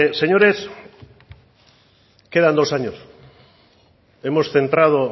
señores quedan dos años hemos centrado